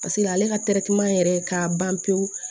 Paseke ale ka yɛrɛ ka ban pewu